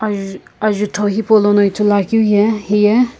juu ajutho hipau lono ithuluakeu ye hiye--